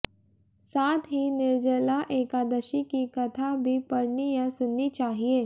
साथ ही निर्जला एकादशी की कथा भी पढ़नी या सुननी चाहिए